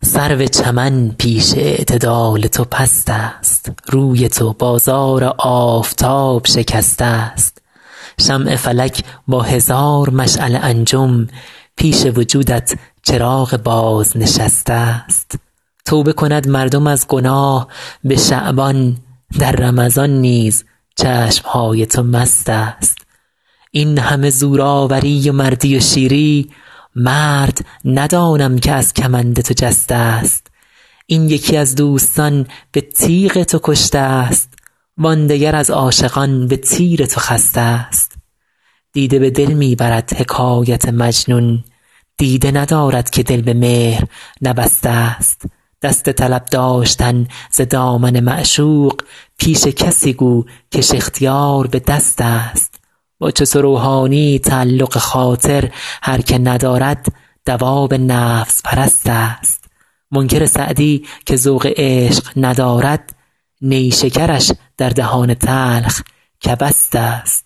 سرو چمن پیش اعتدال تو پست است روی تو بازار آفتاب شکسته ست شمع فلک با هزار مشعل انجم پیش وجودت چراغ بازنشسته ست توبه کند مردم از گناه به شعبان در رمضان نیز چشم های تو مست است این همه زورآوری و مردی و شیری مرد ندانم که از کمند تو جسته ست این یکی از دوستان به تیغ تو کشته ست وان دگر از عاشقان به تیر تو خسته ست دیده به دل می برد حکایت مجنون دیده ندارد که دل به مهر نبسته ست دست طلب داشتن ز دامن معشوق پیش کسی گو کش اختیار به دست است با چو تو روحانیی تعلق خاطر هر که ندارد دواب نفس پرست است منکر سعدی که ذوق عشق ندارد نیشکرش در دهان تلخ کبست است